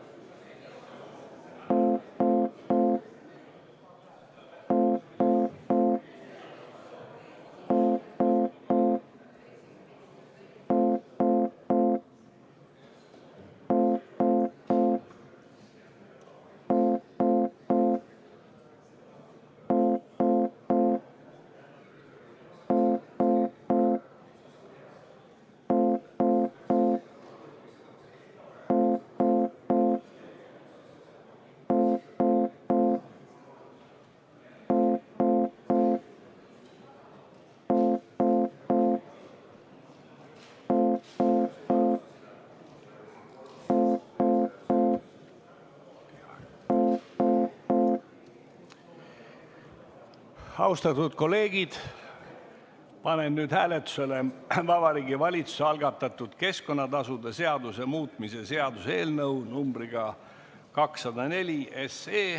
Austatud kolleegid, panen hääletusele Vabariigi Valitsuse algatatud keskkonnatasude seaduse muutmise seaduse eelnõu numbriga 204.